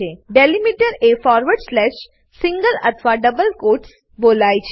delimiter એ forward slash single અથવા double quotes બોલાવાય છે